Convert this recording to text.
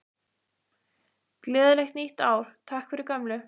Gleðilegt nýtt ár- Takk fyrir gömlu!